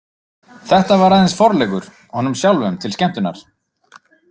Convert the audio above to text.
Þetta var aðeins forleikur, honum sjálfum til skemmtunar.